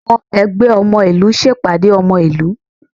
Àwọn ẹgbẹ́ ọmọ ìlú ṣe ìpàdé ọmọ ìlú